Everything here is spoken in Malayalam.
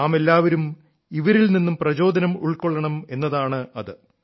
നാമെല്ലാവരും ഇവരിൽ നിന്നും പ്രചോദനം ഉൾക്കൊള്ളണം എന്നതാണത്